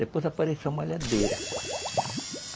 Depois apareceu a malhadeira.